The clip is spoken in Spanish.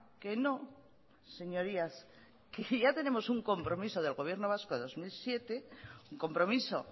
que no señorías que ya tenemos un compromiso del gobierno vasco del dos mil siete un compromiso